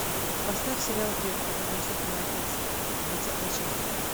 поставь сериал бред который несет мой отец двадцатая часть